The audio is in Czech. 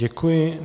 Děkuji.